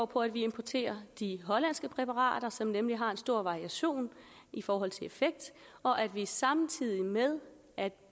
på at vi importerer de hollandske præparater som nemlig har en stor variation i forhold til effekt og at vi samtidig med at